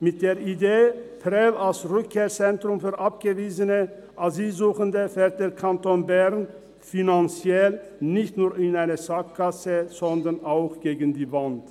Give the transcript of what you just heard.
Mit der Idee, Prêles als Rückkehrzentrum für abgewiesene Asylsuchende, fährt der Kanton Bern finanziell nicht nur in eine Sackgasse, sondern auch gegen die Wand.